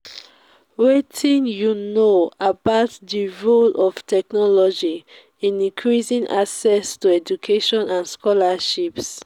wetin you know about di role of technology in increasing access to education and scholarships?